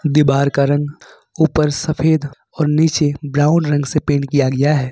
दीवार का रंग ऊपर सफ़ेद और नीचे ब्राउन रंग से पेंट किया गया है।